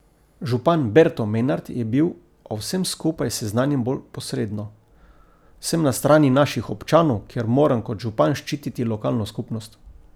Župan Berto Menart je bil o vsem skupaj seznanjen bolj posredno: 'Sem na strani naših občanov, ker moram kot župan ščititi lokalno skupnost.